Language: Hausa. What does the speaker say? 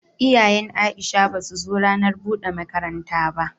Iyayen Aisha basu zo ranar bude makaranta ba.